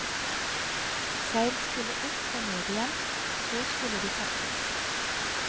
Seil skulle opp og ned igjen, og så skulle de pakkes.